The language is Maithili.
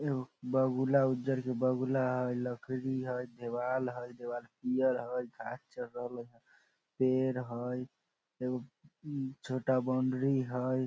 एगो बगुला उजर के बगुला हेय लकड़ी हेय देवाल हेय देवाल पियर हेय घास चर रहले हेय पेड़ हेय एगो छोटा बॉउंड्री हेय ।